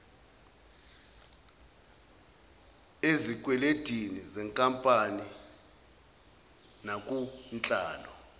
ezikwelendini zenkampani nakunhlalo